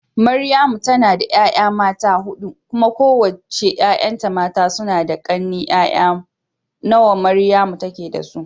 Maryamu tana da 'ya'ya mata huɗu, kuma kowace 'ya'yanta mata suna da ƙane. 'Ya'ya nawa Maryamu take da su?